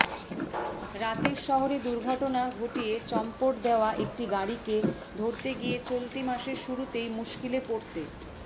রাতের শহরে দুর্ঘটনা ঘটিয়ে চম্পট দেওয়া একটি গাড়িকে ধরতে গিয়ে চলতি মাসের শুরুতেই মুশকিলে পড়তে